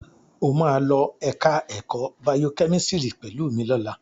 Ó máa lọ ẹ̀ka ẹ̀kọ́ bayokẹ́mísítírì pẹ̀lú mi lọ́la.